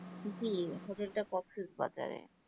জি hotel টা ককসিস বাজেরে